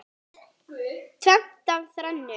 Tvennt af þrennu.